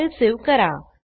file save करा